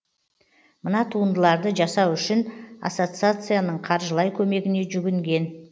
мына туындыларды жасау үшін ассоциацияның қаржылай көмегіне жүгінген